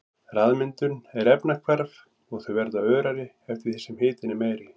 Ryðmyndun er efnahvarf og þau verða örari eftir því sem hitinn er meiri.